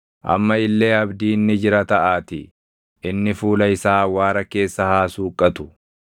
Amma illee abdiin ni jira taʼaatii, inni fuula isaa awwaara keessa haa suuqqatu.